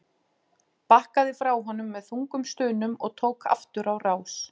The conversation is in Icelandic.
Bakkaði frá honum með þungum stunum og tók aftur á rás.